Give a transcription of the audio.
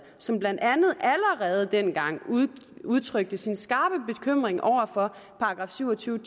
som blandt andet allerede dengang udtrykte sin skarpe bekymring over for § syv og tyve